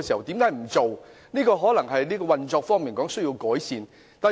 當局可能需在運作上作出改善。